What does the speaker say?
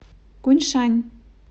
куньшань